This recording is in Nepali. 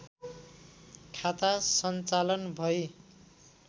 खाता सञ्चालन भई